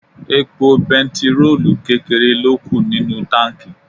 Epo bẹntiróòlù kékeré ló kù nínú táǹkì.